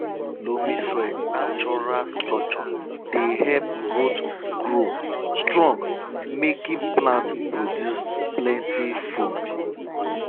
loamy soil natural structure dey help root grow strong making plants produce plenty food